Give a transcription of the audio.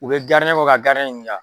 U bɛ kɔ ka ɲininka.